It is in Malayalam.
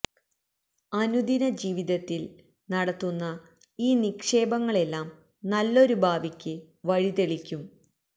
അനുദിന ജീവിതത്തില് നടത്തുന്ന ഈ നിക്ഷേപങ്ങളെല്ലാം നല്ലൊരു ഭാവിക്ക് വഴി തെളിക്കും